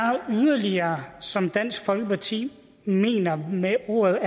yderligere som dansk folkeparti mener med ordet